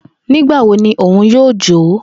Nigbawo ni Oun yoo jo?